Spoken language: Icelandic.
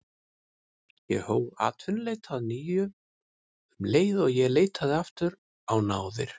Ég hóf atvinnuleit að nýju um leið og ég leitaði aftur á náðir